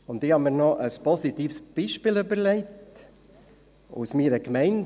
Ich habe mir noch ein positives Beispiel ausgedacht aus meiner Wohngemeinde.